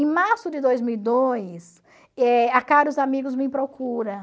Em março de dois mil e dois, eh a Caros Amigos me procura.